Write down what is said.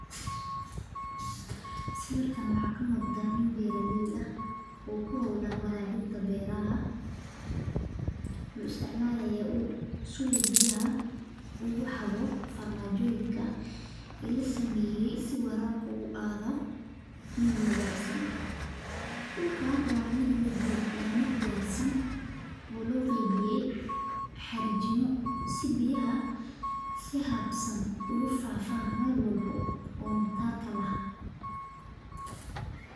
Sawirkan waxa kamuqda nin beeralee ah oo kuholan warawinta beeraha, wuxu isticmalaya uul suu biyaha ukuxago farmanjoyinka lasameye si warabka uu ahado mid nidhamsam, dhulka wa mid diyarsan oo loo qeybiye harajimo sii biyaha sii hadsan oo ku fafan melwalbo oo matarka laaho.